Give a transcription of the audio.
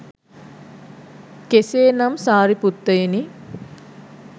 කෙසේ නම් සාරිපුත්තයෙනි